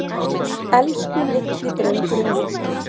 Elsku litli drengurinn minn.